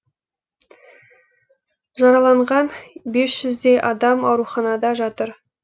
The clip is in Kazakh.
жараланған бес жүздей адам ауруханада жатыр